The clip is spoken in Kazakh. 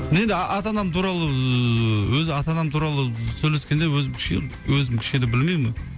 енді ата анам туралы ыыы өзі ата анам туралы сөйлескенде өзім кішкене өзім кішкене білмеймін